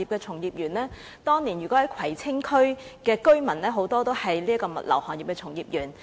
此外，當年很多葵青區居民是物流業的從業員。